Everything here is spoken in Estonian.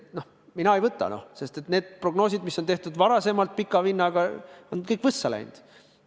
Mina ei võta tõsiselt, sest need prognoosid, mis on varem pika vinnaga tehtud, on kõik võssa läinud.